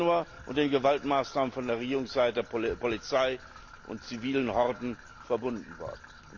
16. Januar und den Gewaltmaßnahmen von der Regierungsseite, Polizei und zivilen Horden verbunden worden.